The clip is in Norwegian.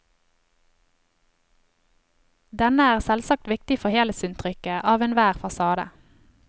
Denne er selvsagt viktig for helhetsinntrykket av enhver fasade.